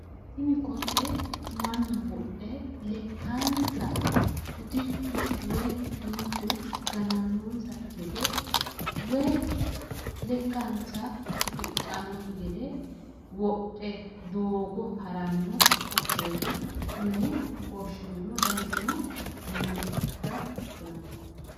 Tini kotte mannu wodhe lekkansa utichu woyi kinchu ganannonsakki gede woyi lekkansa gufidhannokki gede wodhe doogo haranno kotteeti yine woshineemmo danisino duumo ikkinota kulanno